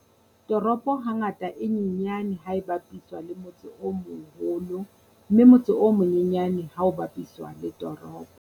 Toropo hangata e nyenyane ha e bapiswa le motse o moholo mme motse o monyenyane ha o bapiswa le toropo.